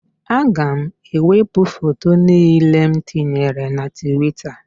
Aga m ewepụ foto niile m tinyere na Twita.